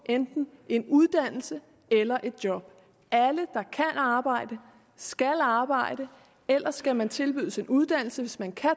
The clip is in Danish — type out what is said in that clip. enten en uddannelse eller et job alle der kan arbejde skal arbejde ellers skal man tilbydes en uddannelse hvis man kan